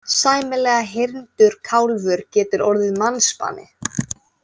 Sæmilega hyrndur kálfur getur orðið mannsbani.